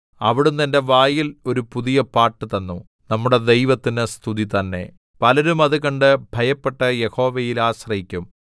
അവിടുന്ന് എന്റെ വായിൽ ഒരു പുതിയ പാട്ട് തന്നു നമ്മുടെ ദൈവത്തിന് സ്തുതി തന്നെ പലരും അത് കണ്ട് ഭയപ്പെട്ട് യഹോവയിൽ ആശ്രയിക്കും